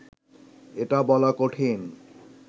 এটা বলা কঠিন